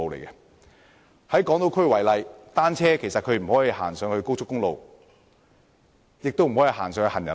以港島區為例，騎單車者其實不能使用高速公路，亦不能使用行人路。